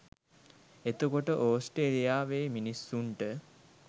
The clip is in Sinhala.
එතකොට ඕස්ට්‍රේලියාවේ මිනිස්සුන්ට